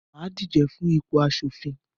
mà á díje fún ipò aṣòfin.